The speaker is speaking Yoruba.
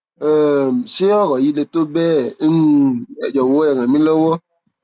um ṣé ọrọ yìí le tó bẹẹ ẹ um jọwọ ẹ ràn mí lọwọ